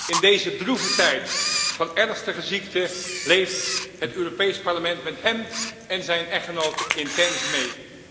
In deze droeve tijden van ernstige ziekte leeft het Europees Parlement met hem en zijn echtgenote intens mee.